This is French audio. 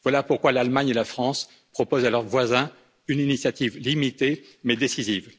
Voilà pourquoi l'Allemagne et la France proposent à leurs voisins une initiative limitée mais décisive.